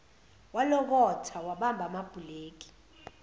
walokotha wabamba amabhuleki